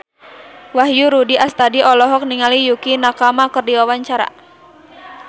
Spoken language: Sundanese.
Wahyu Rudi Astadi olohok ningali Yukie Nakama keur diwawancara